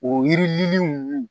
O yirilen ninnu